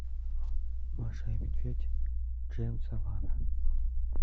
маша и медведь джеймса вана